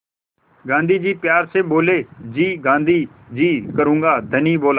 गाँधी जी प्यार से बोले जी गाँधी जी करूँगा धनी बोला